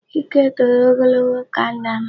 Chike toro ogologo ka nna m.